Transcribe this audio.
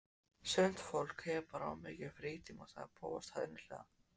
Sumt fólk hefur bara of mikinn frítíma sagði Bóas hæðnislega.